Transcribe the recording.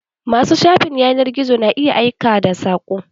Ma su shafin yanar gizo na iya aika sako.